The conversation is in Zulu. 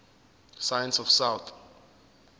science of south